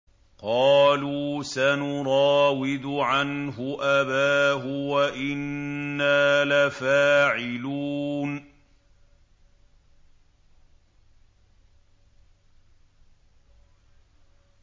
قَالُوا سَنُرَاوِدُ عَنْهُ أَبَاهُ وَإِنَّا لَفَاعِلُونَ